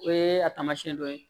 O ye a taamasiyɛn dɔ ye